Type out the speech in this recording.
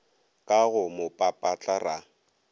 ka go mo papatla ra